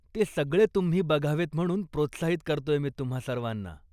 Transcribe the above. ते सगळे तुम्ही बघावेत म्हणून प्रोत्साहित करतोय मी तुम्हा सर्वाना.